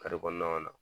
kɔnɔna na